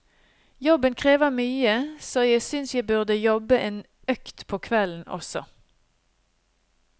Jobben krever mye, så jeg synes jeg burde jobbe en økt på kvelden også.